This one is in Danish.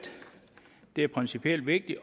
det er principielt vigtigt